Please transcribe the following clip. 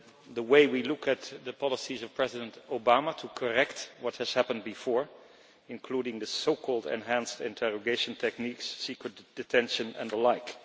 the way we look at the policies of President Obama to correcting what has happened before, including the so called enhanced interrogation techniques, secret detention and the like.